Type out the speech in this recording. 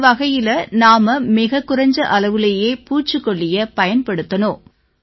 அந்த வகையில நாம மிகக் குறைஞ்ச அளவுலயே பூச்சிக்கொல்லியை பயன்படுத்தணும்